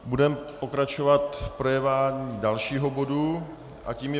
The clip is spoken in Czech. Budeme pokračovat v projednávání dalšího bodu a tím je